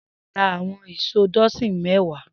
Shina rà awọn ìṣó dọsin mẹ̀wá